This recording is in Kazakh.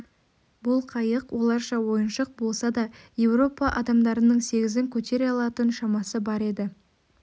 бұл қайық оларша ойыншық болса да еуропа адамдарының сегізін көтере алатын шамасы бар еді